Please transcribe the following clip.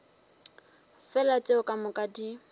fela tšeo ka moka di